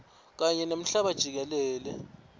kanye nemhlaba jikelele